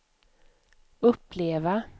uppleva